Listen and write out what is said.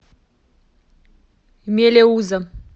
мелеуза